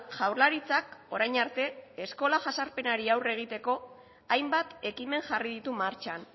jaurlaritzak orain arte eskola jazarpenari aurre egiteko hainbat ekimen jarri ditu martxan